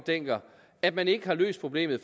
dencker at man ikke har løst problemet